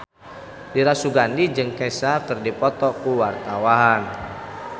Dira Sugandi jeung Kesha keur dipoto ku wartawan